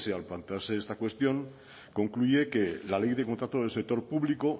al plantearse esta cuestión concluye que la ley de contratos del sector público